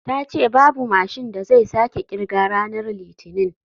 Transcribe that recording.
Ta ce babu mashin da zai sake kirga ranar litinin.